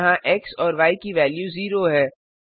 यहाँ एक्स और य की वेल्यू 0 है